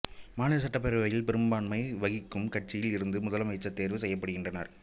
மாநில சட்டப் பேரவையில் பெரும்பான்மை வகிக்கும் கட்சியில் இருந்து முதலமைச்சர் தேர்வு செய்யப்படுகின்றார்